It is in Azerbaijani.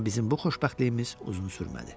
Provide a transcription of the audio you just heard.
Amma bizim bu xoşbəxtliyimiz uzun sürmədi.